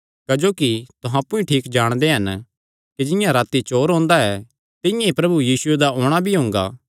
क्जोकि तुहां अप्पु च ठीक जाणदे हन कि जिंआं राती चोर ओंदा ऐ तिंआं ई प्रभु यीशुये दा औणां भी हुंगा